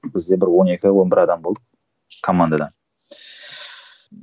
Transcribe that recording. бізде бір он екі он бір адам болдық командада